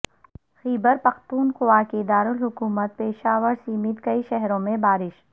خیبر پختونخو اکے دارالحکومت پشاور سمیت کئی شہروں میں بارش